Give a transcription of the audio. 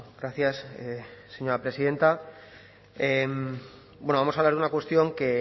gracias señora presidenta bueno vamos a hablar de una cuestión que